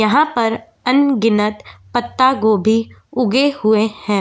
यहाँ पर अनगिनत पत्तागोभी उगे हुए हैं।